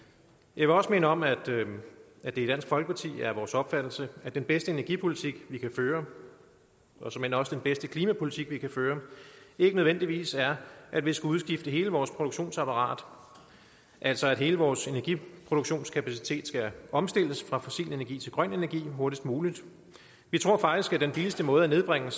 jeg vil også minde om at det i dansk folkeparti er vores opfattelse at den bedste energipolitik vi kan føre og såmænd også den bedste klimapolitik vi kan føre ikke nødvendigvis er at vi skal udskifte hele vores produktionsapparat altså at hele vores energiproduktionskapacitet skal omstilles fra fossil energi til grøn energi hurtigst muligt vi tror faktisk at den billigste måde at nedbringe